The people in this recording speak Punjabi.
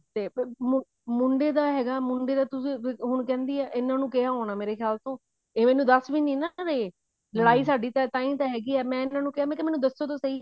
ਤੇ ਅਮ ਮੁੰਡੇ ਦਾ ਹੈਗਾ ਮੁੰਡੇ ਦਾ ਤੁਸੀਂ ਹੁਣ ਕਹਿੰਦੀ ਹੈ ਇਹਨਾ ਨੂੰ ਕਿਹਾ ਹੋਣਾ ਮੇਰੇ ਖਿਆਲ ਤੋਂ ਇਹ ਮੈਨੂੰ ਦੱਸ ਵੀ ਨਹੀਂ ਰਹੇ ਲੜਾਈ ਸਾਡੀ ਤਾਹੀਂ ਤਾਂ ਹੋਗੀ ਆ ਇਹਨਾ ਨੂੰ ਕਿਹਾ ਮੈਨੂੰ ਦੱਸੋ ਤਾਂ ਸਹੀ